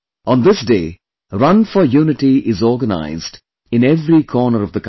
On this day, Run for Unity is organized in every corner of the country